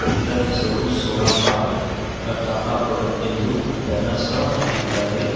ಇದರ ಹೆಸರು Sonata Tata product ಇಂದು ಬ್ಯಾನರ್ಸ್ ಸಹ ಹಾಕಿದ್ದಾರೆ.